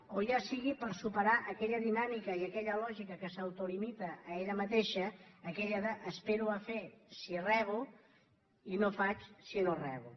o ja sigui per superar aquella dinàmica i aquella lògica que s’autolimita a ella mateixa aquella de espero a fer si rebo i no faig si no rebo